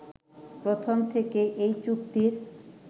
প্রথম থেকেই এ চুক্তির